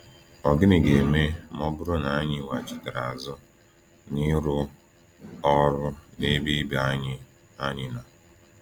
Ọ̀ gịnị ga-eme ma ọ bụrụ na anyị weghachitere azụ n’ịrụ “ọrụ n’ebe ibe anyị anyị nọ”?